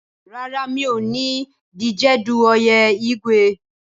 Rárá, mi ò ní díjedu oyè Igwu.